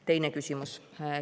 Teine küsimus.